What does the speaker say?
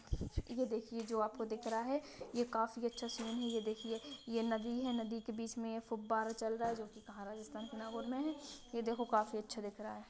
ये देखिए जो आपको दिख रहा है ये काफी अच्छा सीन है ये देखिये ये नदी है नदी के बीच ये फुबारा चल रहा है जोकि कहा राजस्थान के नागौर में है ये देखो काफी अच्छा दिख रहा है।